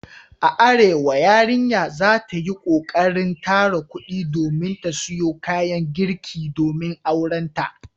A Arewa yarinya za ta yi kokarin tara kudi domin ta siyo kayan girki domin aurenta.